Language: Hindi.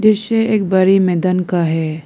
दृश्य एक बड़ी मैदान का है।